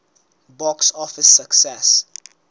box office success